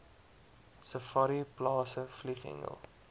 safari plase vlieghengel